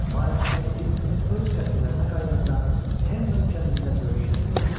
Mayls və Edit öz qəsrlərinə qayıdanda Henden kəndində böyük şənlik oldu.